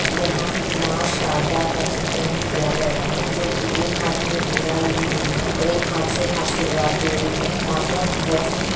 यहां मां शारदा का चित्रण किया गया है जो की एक हाथ में वीणा ली हुई है और एक हाथ से आशीर्वाद दे रही है माता बहुत ही--